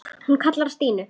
Hún kallaði á Stínu.